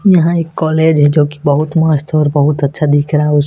यहां एक कॉलेज है जो की बहुत मस्त और बहुत अच्छा दिख रहा है उस--